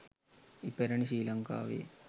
ඉපැරැණි ශ්‍රී ලංකාවේ